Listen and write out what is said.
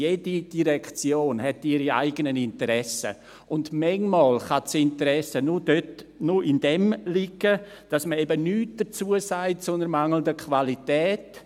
Jede Direktion hat ihre eigenen Interessen, und manchmal kann das Interesse nur darin liegen, dass man eben nichts dazu sagt zu einer mangelnden Qualität.